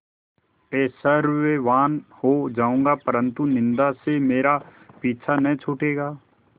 ऐश्वर्यवान् हो जाऊँगा परन्तु निन्दा से मेरा पीछा न छूटेगा